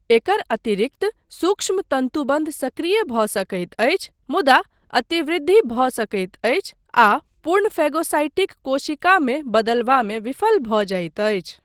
एकर अतिरिक्त सूक्ष्मतन्तुबन्ध सक्रिय भऽ सकैत अछि मुदा अतिवृद्धि भऽ सकैत अछि आ पूर्ण फैगोसाइटिक कोशिकामे बदलबामे विफल भऽ जाइत अछि।